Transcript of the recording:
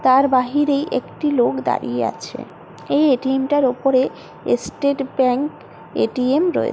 তার বাহিরে একটি লোক দাঁড়িয়ে আছে এই এটিএম টার ওপরে স্টেট ব্যাংক এ_টি_এম রয়েছে।